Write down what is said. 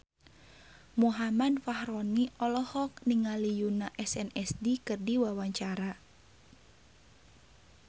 Muhammad Fachroni olohok ningali Yoona SNSD keur diwawancara